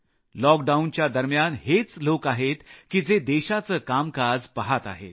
लॉकडाऊनच्या दरम्यान हेच लोक आहेत की जे देशाचं कामकाज पहात आहेत